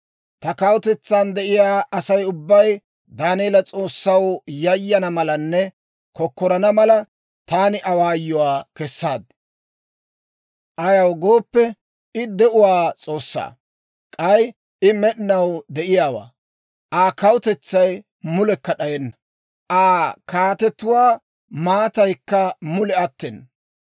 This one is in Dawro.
«Ta kawutetsan de'iyaa Asay ubbay Daaneela S'oossaw yayana malanne kokkorana mala, taani awaayuwaa kessaad. «Ayaw gooppe, I de'uwaa S'oossaa; k'ay I med'inaw de'iyaawaa. Aa kawutetsay mulekka d'ayenna; Aa kaatetuwaa maataykka mule attena.